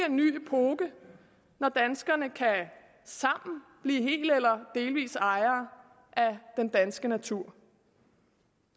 en ny epoke når danskerne sammen helt eller delvis ejere af den danske natur